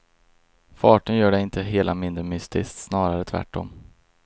Farten gör inte det hela mindre mystiskt, snarare tvärtom.